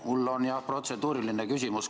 Mul on jah protseduuriline küsimus.